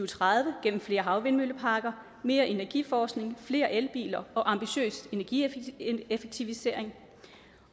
tredive gennem flere havvindmølleparker mere energiforskning flere el biler og ambitiøs energieffektivisering